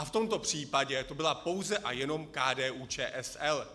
A v tomto případě to byla pouze a jenom KDU-ČSL.